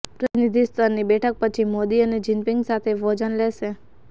પ્રતિનિધિ સ્તરની બેઠક પછી મોદી અને જિનપિંગ સાથે ભોજન લેશે